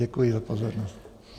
Děkuji za pozornost.